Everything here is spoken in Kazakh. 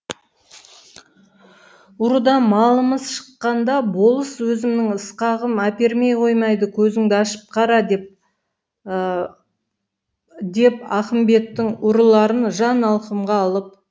ұрыдан малымыз шыққанда болыс өзімнің ысқағым әпермей қоймайды көзіңді ашып қара деп ақымбеттың ұрыларын жан алқымға алып